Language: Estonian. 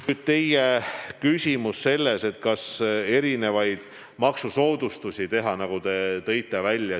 Nüüd teie küsimus selle kohta, kas võiks teha maksusoodustusi.